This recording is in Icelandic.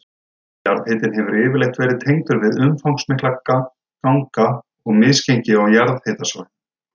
Jarðhitinn hefur yfirleitt verið tengdur við umfangsmikla ganga og misgengi á jarðhitasvæðunum.